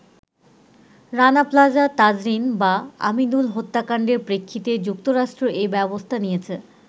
“রানা প্লাজা, তাজরীন বা আমিনুল হত্যাকাণ্ডের প্রেক্ষিতে যুক্তরাষ্ট্র এ ব্যবস্থা নিয়েছে।